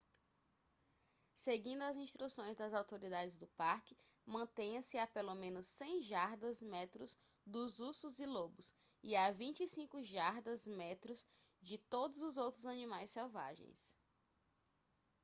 seguindo as instruções das autoridades do parque mantenha-se a pelo menos 100 jardas/metros dos ursos e lobos e a 25 jardas/metros de todos os outros animais selvagens!